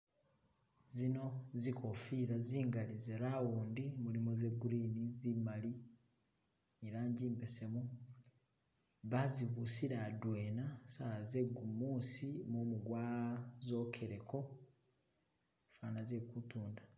Zino zikofila zingali ze round mulimo ze green, zip mali ni rangi imbesemu , bazi busile adwena sawa zegumusi mumu gwa zokeleko fana ze ku tunda.